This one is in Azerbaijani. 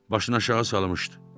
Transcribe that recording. Başına aşağı salmışdı.